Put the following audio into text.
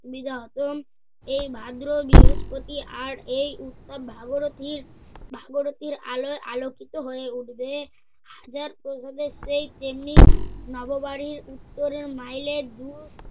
বিগা হতম, এই ভাদ্র বৃহস্পতি আর এই উৎসব ভাগরথীর ভাগরথীর আলোয় আলোকিত হয়ে উঠবে। হাজার অভাবের চেয়ে তেমনি নববাড়ির উত্তরের মাইলের ঢু~